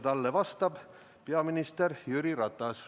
Talle vastab peaminister Jüri Ratas.